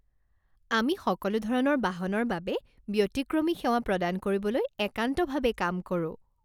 আমি সকলো ধৰণৰ বাহনৰ বাবে ব্যতিক্ৰমী সেৱা প্ৰদান কৰিবলৈ একান্তভাৱে কাম কৰোঁ।